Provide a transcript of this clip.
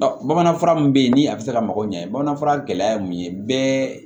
Bamanan fura min bɛ yen ni a bɛ se ka mago ɲɛ bamanan fura gɛlɛya ye mun ye bɛɛ